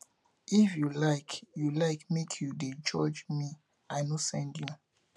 if you like you like make you dey judge me i no send you